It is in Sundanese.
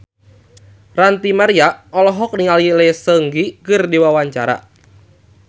Ranty Maria olohok ningali Lee Seung Gi keur diwawancara